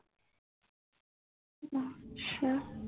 ਅੱਛਾ